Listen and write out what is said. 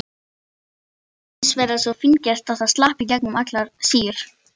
Þetta grugg var hins vegar svo fíngert að það slapp í gegnum allar síur.